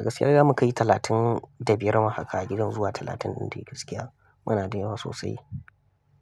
A gaskiya zamu kai talatin da biyar ma haka gidan zuwa talatin dai gaskiya. Muna da yawa sosai.